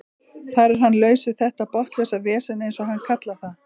Þar er hann laus við þetta botnlausa vesen eins og hann kallar það.